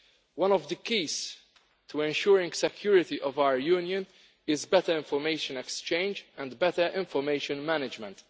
One of the keys to ensuring the security of our union is better information exchange and better information management.